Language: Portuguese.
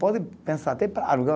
Pode pensar até para alugar